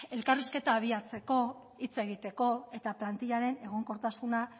elkarrizketa abiatzeko hitz egiteko eta plantilaren egonkortasuna